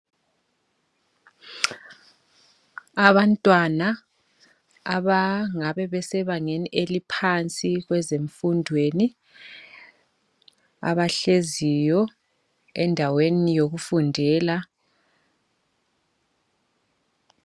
Abantwana abangabe besebangeni eliphansi kwezenfundweni . Abahleziyo endaweni yokufundela.